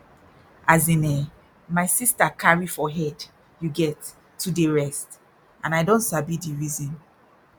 as in eh my sister carry for head you get to dey rest and i don sabi di reason